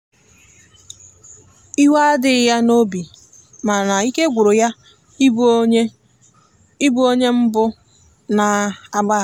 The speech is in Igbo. iwe adighi ya n'obimana ike gwụrụ ya ị bụ onye ị bụ onye mbu na agbaghara